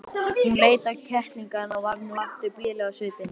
Hún leit á kettlingana og varð nú aftur blíðleg á svipinn.